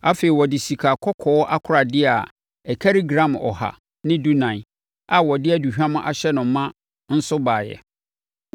Afei, ɔde sikakɔkɔɔ akoradeɛ a ɛkari gram ɔha ne dunan (114) a wɔde aduhwam ahyɛ no ma nso baeɛ.